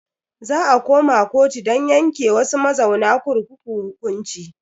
Za a koma kotu don yanke wasu mazauna kurkukun hukunci.